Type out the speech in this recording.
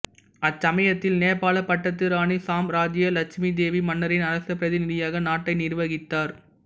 அச்சமயத்தில் நேபாள பட்டத்து ராணி சாம்ராஜ்ஜிய லெட்சுமி தேவி மன்னரின் அரசப் பிரதிநிதியாக நாட்டை நிர்வகித்தார்